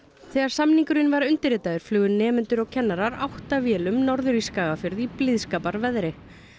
þegar samningurinn var undirritaður flugu nemendur og kennarar átta vélum norður í Skagafjörð í blíðskaparveðri